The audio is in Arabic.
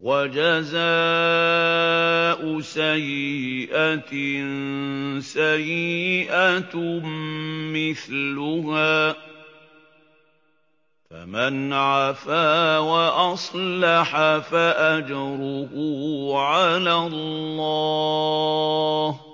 وَجَزَاءُ سَيِّئَةٍ سَيِّئَةٌ مِّثْلُهَا ۖ فَمَنْ عَفَا وَأَصْلَحَ فَأَجْرُهُ عَلَى اللَّهِ ۚ